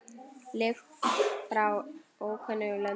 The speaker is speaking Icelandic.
Lykt frá ókunnum löndum.